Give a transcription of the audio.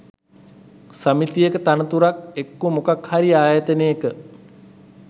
සමිතියක තනතුරක් එක්කෝ මොකක් හරි ආයතනයක